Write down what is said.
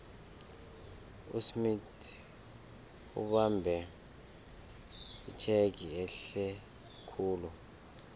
usmith ubambe itjhegi ehlekhulu